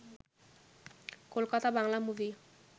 Kolkata Bangla movie